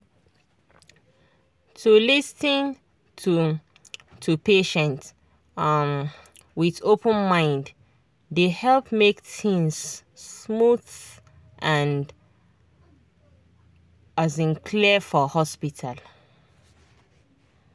to lis ten to to patient um with open mind dey help make things smooth and um clear for hospital.